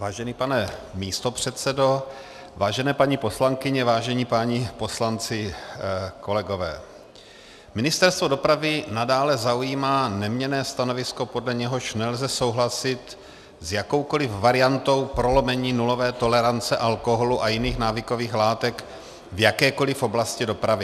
Vážený pane místopředsedo, vážené paní poslankyně, vážení páni poslanci, kolegové, Ministerstvo dopravy nadále zaujímá neměnné stanovisko, podle něhož nelze souhlasit s jakoukoli variantou prolomení nulové tolerance alkoholu a jiných návykových látek v jakékoli oblasti dopravy.